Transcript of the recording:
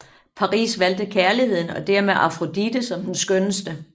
Paris valgte kærligheden og dermed Afrodite som den skønneste